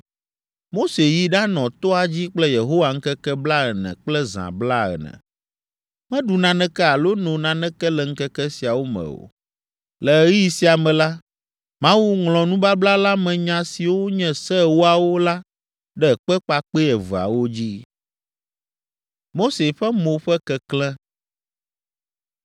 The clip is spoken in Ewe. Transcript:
Mose yi ɖanɔ toa dzi kple Yehowa ŋkeke blaene kple zã blaene. Meɖu naneke alo no naneke le ŋkeke siawo me o. Le ɣeyiɣi sia me la, Mawu ŋlɔ nubabla la me nya siwo nye Se Ewoawo la ɖe kpe kpakpɛ eveawo dzi.